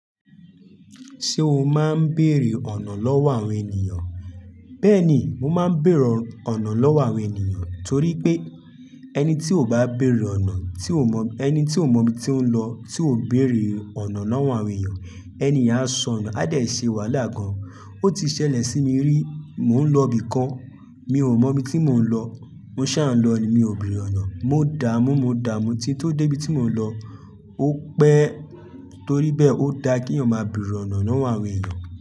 Ṣé o máa ń bèrè ọ̀nà lọ́wọ́ àwọn ènìyàn? Bẹ́ẹ̀ni, mo máa ń bèrè ọ̀nà lọ́wọ́ àwọn ènìyàn torí pé ẹni tí ò bá bèrè ọ̀nà, tí ò mọ̀, ẹni tí ò mọ̀ bí i tí ó ń lọ tí ò béèrè ọ̀nà lọ́wọ́ àwọn ènìyàn, ẹni ìyà á sọ nu, a dà ṣe wàhálà gan. Ó ti ṣẹlẹ̀ sí mi rí, mò ń lọ ibìkan, mi ò mọ̀ bí i tí mò ń lọ, mo sá ń lọ ni, mi ò béèrè ọ̀nà, mo dààmú, mo dààmú, tí tó dé ibi tí mò ń lọ, ó pẹ́. Torí bẹ́ẹ̀ ó da kí ẹ̀yàn máa bèèrè ọ̀nà lọ́wọ́ àwọn ènìyàn.